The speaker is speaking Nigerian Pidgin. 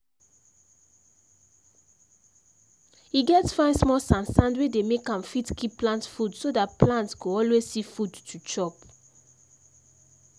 e get fine small sand sand wey dey make am fit keep plant food so that plant go always see food to chop.